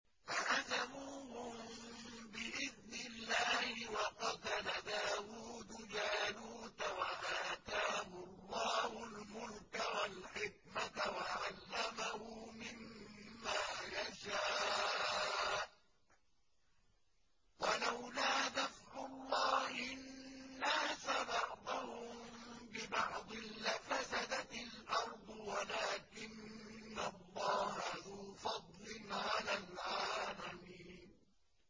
فَهَزَمُوهُم بِإِذْنِ اللَّهِ وَقَتَلَ دَاوُودُ جَالُوتَ وَآتَاهُ اللَّهُ الْمُلْكَ وَالْحِكْمَةَ وَعَلَّمَهُ مِمَّا يَشَاءُ ۗ وَلَوْلَا دَفْعُ اللَّهِ النَّاسَ بَعْضَهُم بِبَعْضٍ لَّفَسَدَتِ الْأَرْضُ وَلَٰكِنَّ اللَّهَ ذُو فَضْلٍ عَلَى الْعَالَمِينَ